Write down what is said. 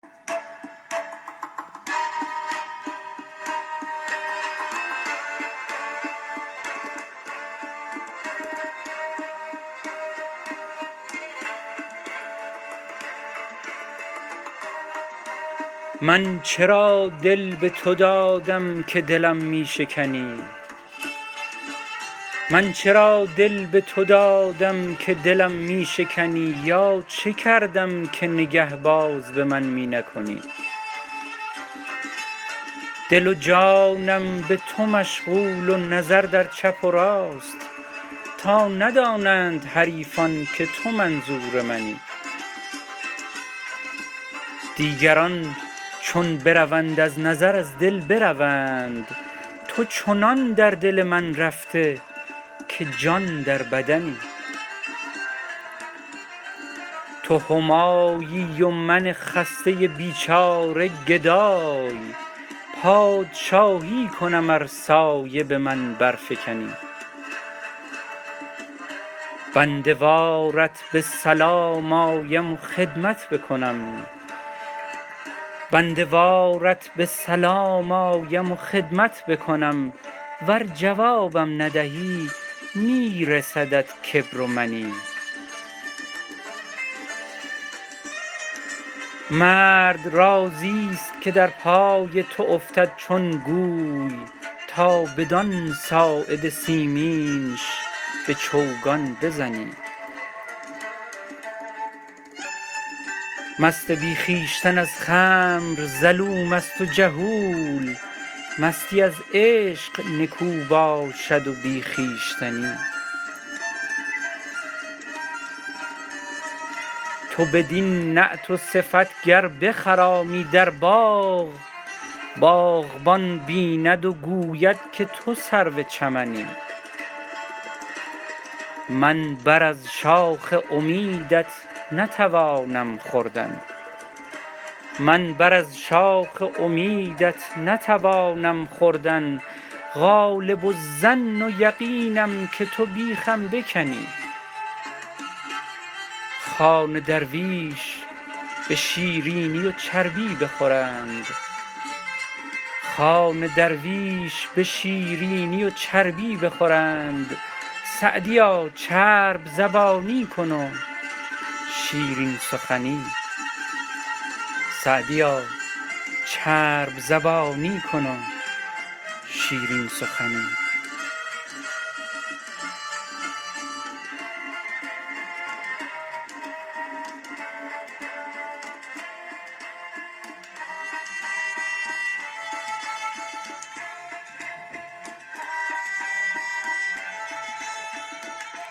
من چرا دل به تو دادم که دلم می شکنی یا چه کردم که نگه باز به من می نکنی دل و جانم به تو مشغول و نظر در چپ و راست تا ندانند حریفان که تو منظور منی دیگران چون بروند از نظر از دل بروند تو چنان در دل من رفته که جان در بدنی تو همایی و من خسته بیچاره گدای پادشاهی کنم ار سایه به من برفکنی بنده وارت به سلام آیم و خدمت بکنم ور جوابم ندهی می رسدت کبر و منی مرد راضیست که در پای تو افتد چون گوی تا بدان ساعد سیمینش به چوگان بزنی مست بی خویشتن از خمر ظلوم است و جهول مستی از عشق نکو باشد و بی خویشتنی تو بدین نعت و صفت گر بخرامی در باغ باغبان بیند و گوید که تو سرو چمنی من بر از شاخ امیدت نتوانم خوردن غالب الظن و یقینم که تو بیخم بکنی خوان درویش به شیرینی و چربی بخورند سعدیا چرب زبانی کن و شیرین سخنی